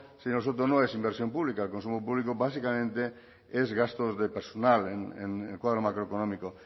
señor soto no es inversión pública el consumo público básicamente es gasto de personal en el cuadro macroeconómico